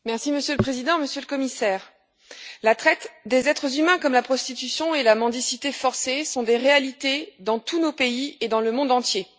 Monsieur le Président, Monsieur le Commissaire, la traite des êtres humains comme la prostitution et la mendicité forcées sont des réalités dans tous nos pays et dans le monde entier.